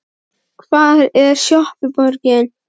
Hvar er skjaldborgin?